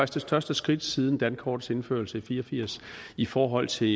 det største skridt siden dankortets indførelse i nitten fire og firs i forhold til